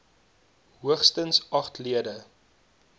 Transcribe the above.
hoogstens agt lede